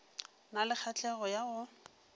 na le kgahlego ya go